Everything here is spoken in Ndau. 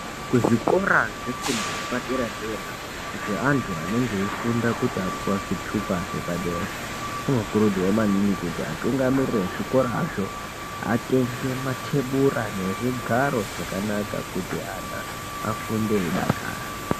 Kuzvikora zvefundo yepadera-dera zveanthu anonge eifunda kuti apuwa zvithupa zvepadera, kunokurudzirwa maningi kuti atungamiriri ezvikorazvo, atenge mathebura nezvigaro zvakanaka kuti ana afunde eidakara.